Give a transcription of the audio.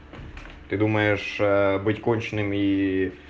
ты думаешь быть конченым ии